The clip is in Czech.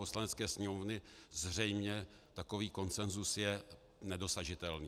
Poslanecké sněmovny zřejmě takový konsenzus je nedosažitelný.